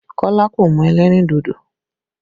Kọ́lá kò mu ẹlẹ́rìn dodo